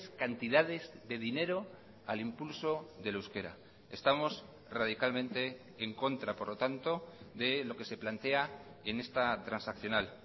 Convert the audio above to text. cantidades de dinero al impulso del euskera estamos radicalmente en contra por lo tanto de lo que se plantea en esta transaccional